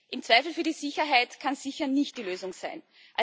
Im Zweifel für die Sicherheit kann sicher nicht die Lösung sein.